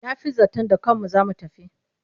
Na fi zaton da kanmu za mu tafi.